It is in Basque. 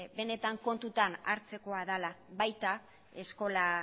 benetan kontutan hartzekoa dela baita eskola